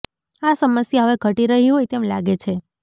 આ સમસ્યા હવે ઘટી રહી હોય તેમ લાગે છે